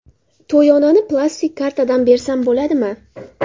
To‘yonani plastik kartadan bersam bo‘ladimi?